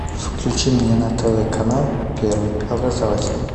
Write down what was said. включи мне на тв канал первый образовательный